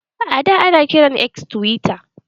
Ada, ana kiran X tiwita.